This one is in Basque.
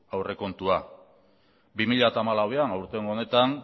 aurrekontua bi mila hamalauean aurtengo honetan